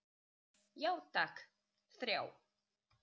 Já takk, þrjá.